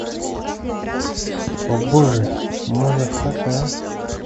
о боже мазафака